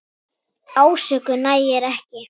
Ásökun nægir ekki.